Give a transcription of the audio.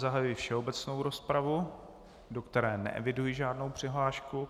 Zahajuji všeobecnou rozpravu, do které neeviduji žádnou přihlášku.